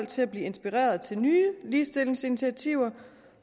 til at blive inspireret til nye ligestillingsinitiativer